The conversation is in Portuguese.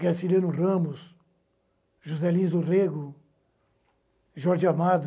Graciliano Ramos, Juscelino Zorrego, Jorge Amado,